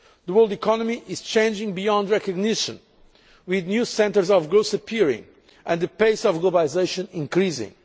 The world economy is changing beyond recognition, with new centres of growth appearing and the pace of globalisation increasing.